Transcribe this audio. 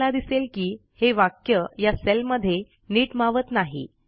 तुम्हाला दिसेल की हे वाक्य या सेलमध्ये नीट मावत नाही